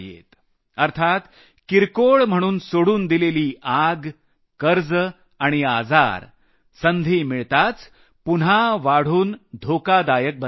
अर्थात किरकोळ म्हणून सोडून दिलेली आग कर्ज आणि आजार संधी मिळताच पुन्हा वाढून धोकादायक बनतात